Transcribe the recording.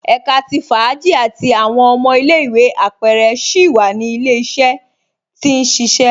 Ẹ̀ká tí fáàjì àti awọn ọmọ ilẹ̀-ìwé apẹrẹ síi wa ni ilẹ̀-iṣẹ̀rẹ tí n ṣiṣẹ